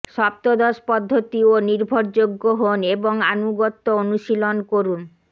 সপ্তদশ পদ্ধতি ও নির্ভরযোগ্য হোন এবং আনুগত্য অনুশীলন করুন